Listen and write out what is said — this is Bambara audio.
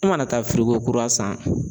E mana taa kura san